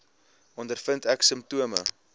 ondervind ek simptome